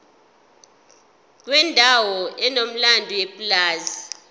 kwendawo enomlando yepulazi